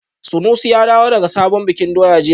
Sanusi ya dawo daga sabon bikin doya jiya